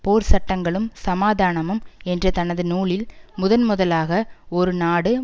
போர் சட்டங்களும் சமாதானமும் என்ற தனது நூலில் முதன் முதலாக ஒரு நாடு